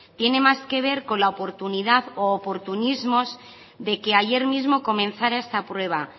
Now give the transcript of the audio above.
tiene más que ver con la oportunidad u oportunismos de que ayer mismo comenzara esta prueba